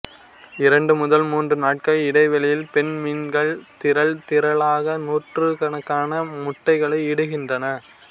இரண்டு முதல் மூன்று நாட்கள் இடைவெளியில் பெண் மீன்கள் திரள் திரளாக நூற்றுக்கணக்கான முட்டைகளை இடுகின்றன